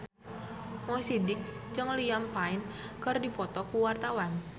Mo Sidik jeung Liam Payne keur dipoto ku wartawan